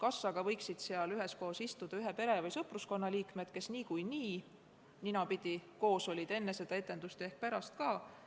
Aga kas võiksid üheskoos istuda ühe pere või sõpruskonna liikmed, kes niikuinii olid ninapidi koos enne etendust ja on seda ka pärast?